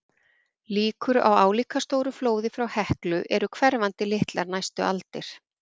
Líkur á álíka stóru flóði frá Heklu eru hverfandi litlar næstu aldir.